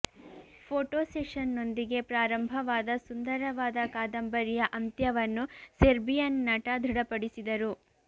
photo ಸೆಷನ್ನೊಂದಿಗೆ ಪ್ರಾರಂಭವಾದ ಸುಂದರವಾದ ಕಾದಂಬರಿಯ ಅಂತ್ಯವನ್ನು ಸೆರ್ಬಿಯನ್ ನಟ ದೃಢಪಡಿಸಿದರು